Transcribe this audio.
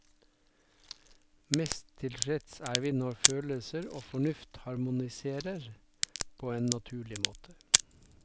Mest tilfredse er vi når følelser og fornuft harmoniserer på en naturlig måte.